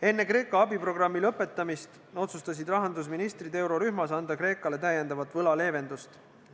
Enne Kreeka abiprogrammi lõpetamist otsustasid rahandusministrid eurorühmas anda Kreekale veel võlaleevendust.